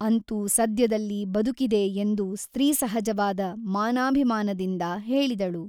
ಅಂತೂ ಸದ್ಯದಲ್ಲಿ ಬದುಕಿದೆ ಎಂದು ಸ್ತ್ರೀಸಹಜವಾದ ಮಾನಾಭಿಮಾನದಿಂದ ಹೇಳಿದಳು.